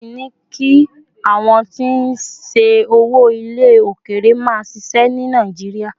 won ti ní kí àwọn tí n ṣe owó ile okere ma ṣiṣẹ ni nàìjíría